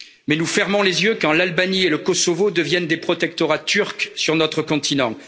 Mais nous fermons les yeux quand l'Albanie et le Kosovo deviennent des protectorats turcs sur notre continent.